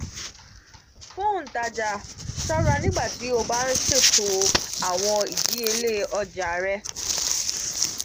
fun ontaja ṣọra nigbati o ba nṣeto awọn idiyele oja